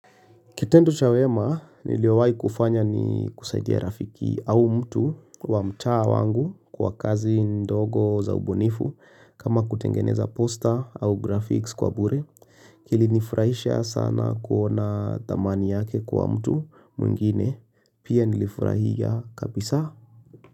Kitendo chawema niliowai kufanya ni kusaidia rafiki au mtu wa mtaa wangu kwa kazi ndogo za ubunifu kama kutengeneza poster au graphics kwa bure. Kilinifurahisha sana kuona dhamani yake kwa mtu mwingine pia nilifurahia kabisa.